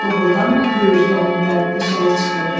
Doğrudanmı göy Ürgə onun dərdinə şərik çıxırdı?